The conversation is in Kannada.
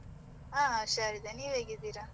ಆ ಹುಷಾರಿದ್ದೇನೆ, ನೀವು ಹೇಗಿದ್ದೀರಾ?